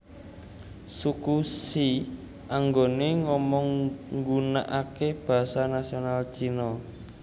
Suku She anggone ngomong nggunakake basa nasional Cina